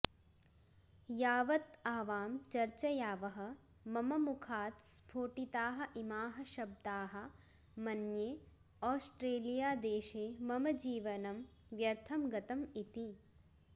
यावत् आवां चर्चयावः मम मुखात् स्फोटिताः इमाः शब्दाः मन्ये ओस्ट्रेलियादेशे मम जीवनं व्यर्थं गतम् इति